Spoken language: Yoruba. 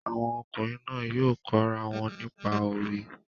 Àwọn ọkùnrin náà yóò kọ́ ra wọn nípa òwe